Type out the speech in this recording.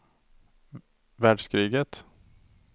världskriget